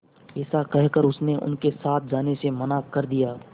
ऐसा कहकर उसने उनके साथ जाने से मना कर दिया